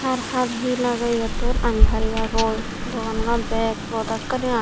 haar haar hi lagey iyottun aani paripagoi dogananot bek prodakaani aai.